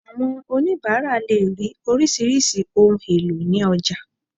Àwọn onibara lè rí orisirisi ohùn èlò ni ọjà